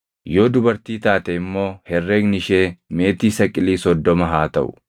Yoo dubartii taate immoo herregni ishee meetii saqilii soddoma haa taʼu.